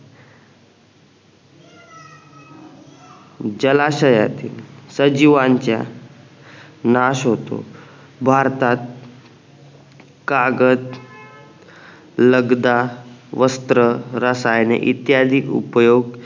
जलाशयातील सजीवांच्या नाश होतो भारतात कागद लगदा वस्त्र रसायने इत्यादि उपयोग